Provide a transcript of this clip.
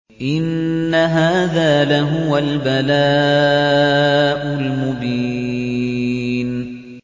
إِنَّ هَٰذَا لَهُوَ الْبَلَاءُ الْمُبِينُ